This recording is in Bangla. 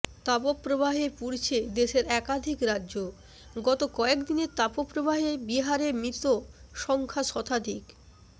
তাপপ্রবাহে পুড়ছে দেশের একাধিক রাজ্য গত কয়েকদিনের তাপপ্রবাহে বিহারে মৃত সংখ্যা শতাধিক